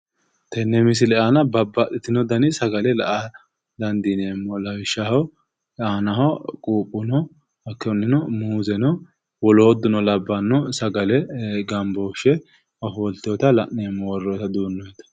Tenne misile aana babbaxxitino dani sagale la"a dandineemo lawishshaho aanaho quuphe no ahttonni muuze no woloottuno labbanno sagale gambooshshe ofolteyoota la'neemmo worroyiita duunne.